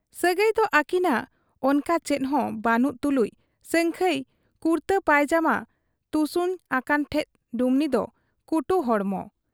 ᱥᱟᱹᱜᱟᱹᱭᱫᱚ ᱟᱹᱠᱤᱱᱟᱜ ᱚᱱᱠᱟ ᱪᱮᱫᱦᱚᱸ ᱵᱟᱹᱱᱩᱜ ᱛᱩᱞᱩᱡ ᱥᱟᱹᱝᱠᱷᱟᱹᱭ ᱠᱩᱨᱛᱟᱹ ᱯᱟᱹᱭᱡᱟᱢᱟ ᱛᱩᱥᱩᱧ ᱟᱠᱟᱱ ᱴᱷᱮᱫ ᱰᱩᱢᱱᱤ ᱫᱚ ᱠᱩᱴᱩ ᱦᱚᱲᱢᱚ ᱾